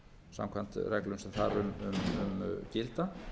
samkvæmt reglum sem þar um gilda